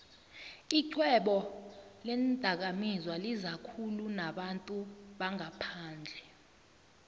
ixhwebo leendakamizwalizakhulu nabantu bangaphandle